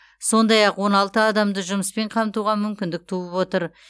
сондай ақ он алты адамды жұмыспен қамтуға мүмкіндік туып отыр